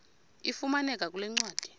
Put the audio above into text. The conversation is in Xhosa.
ifumaneka kule ncwadi